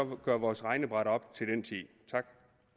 vi gøre vores regnebræt op til den tid tak